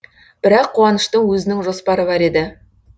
бірақ қуаныштың өзінің жоспары бар еді